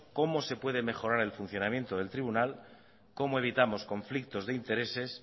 cómo se puede mejorar el funcionamiento del tribunal cómo evitamos conflictos de intereses